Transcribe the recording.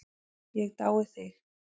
Ég dái þig.